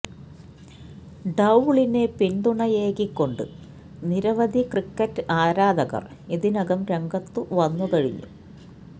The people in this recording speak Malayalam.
ഡൌളിന് പിന്തണയേകിക്കൊണ്ട് നിരവധി ക്രിക്കറ്റ് ആരാധകര് ഇതിനകം രംഗത്തു വന്നു കഴിഞ്ഞു